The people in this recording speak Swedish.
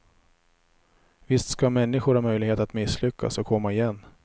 Visst ska människor ha möjlighet att misslyckas och komma igen.